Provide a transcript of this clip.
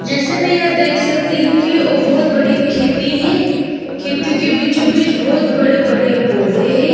जैसे की मैं देख सकती हु कि वो बहुत बड़ी खेती है खेती के बीचों बीच बहुत बड़े बड़े पोधे है।